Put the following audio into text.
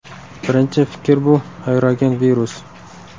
Birinchi fikr bu – aerogen virus.